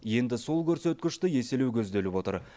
енді сол көрсеткішті еселеу көзделіп отыр